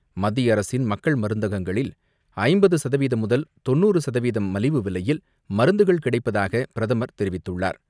மத்தியஅரசின் மக்கள் மருந்தகங்களில் ஐம்பது சதவீதம் முதல் தொண்ணூறு சதவீதம் மலிவு விலையில் மருந்துகள் கிடைப்பதாக பிரதமர் தெரிவித்துள்ளார்.